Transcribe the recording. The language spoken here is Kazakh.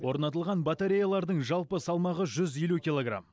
орнатылған батареялардың жалпы салмағы жүз елу килограмм